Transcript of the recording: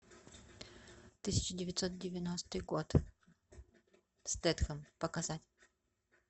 тысяча девятьсот девяностый год стэтхэм показать